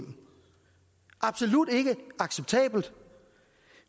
absolut ikke acceptabelt